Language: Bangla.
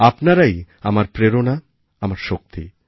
আপনারাই আমার প্রেরণা আমার শক্তি